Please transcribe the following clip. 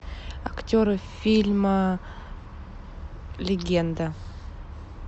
актеры фильма легенда